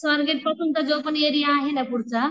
जो पण एरिया आहे ना पुढचा